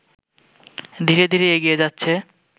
ধীরে ধীরে এগিয়ে যাচ্ছে